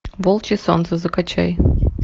волчье солнце закачай